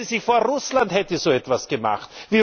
Stellen Sie sich vor, Russland hätte so etwas gemacht!